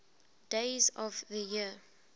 days of the year